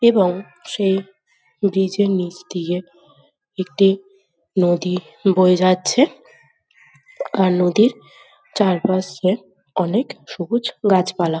এবং সেই ব্রিজে নিচ দিয়ে একটি নদী বয়ে যাচ্ছে আর নদীর চারপাশে অনেক সবুজ গাছপালা।